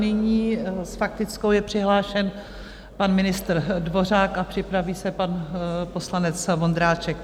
Nyní s faktickou je přihlášen pan ministr Dvořák a připraví se pan poslanec Vondráček.